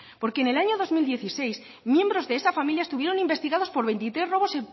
porque en el año dos mil dieciséis miembros de esa familia estuvieron investigados por veintitrés robos